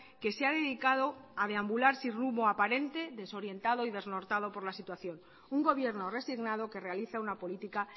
que se ha dedicado a deambular sin rumbo aparente desorientado y desnortado por la situación un gobierno resignado que realiza una política